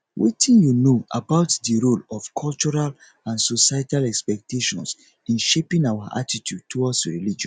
wetin you know about di role of cultural and societal expectations in shaping our attitude towards religion